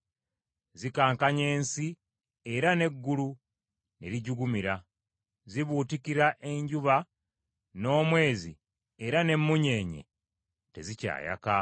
Zikankanya ensi era n’eggulu ne lijugumira. Zibuutikira enjuba n’omwezi, era n’emmunyeenye tezikyayaka.